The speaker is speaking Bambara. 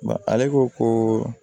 Ale ko ko